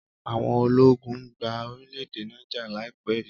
Àwọn ológun gba N orílẹ̀-èdè Niger laipẹ yìí.